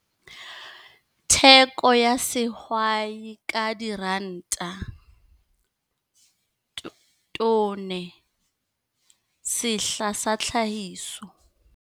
Theko ya sehwai ka Diranta, tone, sehla sa tlhahiso.